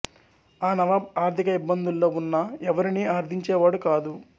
ఆ నవాబ్ ఆర్థిక ఇబ్బందుల్లో ఉన్నా ఎవరినీ అర్థించేవాడు కాదు